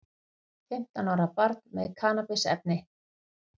Fimmtán ára með kannabisefni